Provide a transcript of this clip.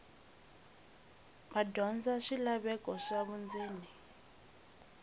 madyondza bya swilaveko swa vundzeni